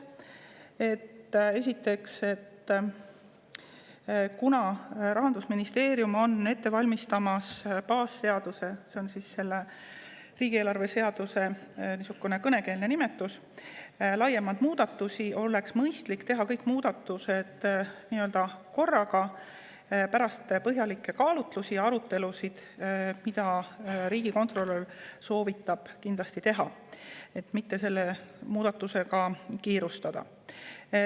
Esiteks, kuna Rahandusministeerium on ette valmistamas baasseaduse – see on riigieelarve seaduse kõnekeelne nimetus – laiemat muutmist, siis oleks mõistlik teha kõik muudatused korraga, aga alles pärast põhjalikke kaalutlusi ja arutelusid, mida riigikontrolör soovitab kindlasti teha, sest selle muudatusega ei tasu kiirustada.